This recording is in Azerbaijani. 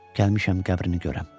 Gəlmişəm qəbrini görəm.